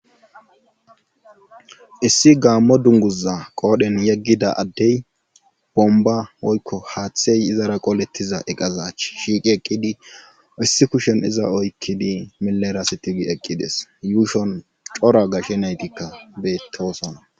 issi gaammo dunguza qoodhen yeggida addey bomba woykko haaththey izara qolettiza eqazach shiiqi eqqidi issi kushen iza oykkidi milerasitigi eqqides yuushon cora gashe naytikka beetowosona